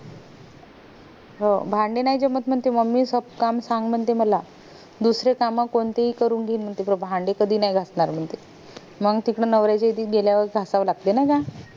हो भांडे नाय जमत म्हणते mummy सब काम सांग म्हणते मला दुसरे काम कोणते हि करून घेईन म्हणते पण भांडे कधी नाय घासणार म्हनते मंग तिकडे नवऱ्या च्या इकडे गेल्यावर घासायला लागतील ना ग